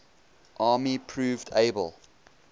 army proved able